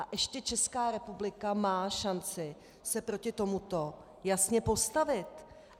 A ještě Česká republika má šanci se proti tomuto jasně postavit.